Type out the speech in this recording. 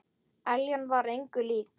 Eljan var engu lík.